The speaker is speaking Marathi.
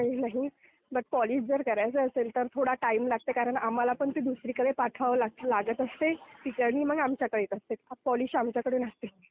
तसं काही नाही पण पॉलिश जर करायचं असेल तर थोडा टाइम लागते कारण आम्हाला पण ते दुसरीकडे पाठवावं लागत असते. तिकडनं मग आमच्याकडे येत असते. पॉलिश आमच्याकडे नाही होत.